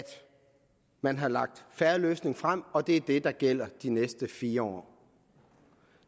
man har lagt fair løsning frem og at det er det der gælder de næste fire år